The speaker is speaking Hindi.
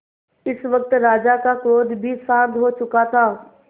इस वक्त राजा का क्रोध भी शांत हो चुका था